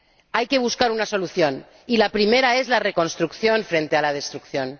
Hay que buscar una solución, y la primera es la reconstrucción frente a la destrucción